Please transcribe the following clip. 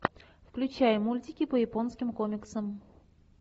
включай мультики по японским комиксам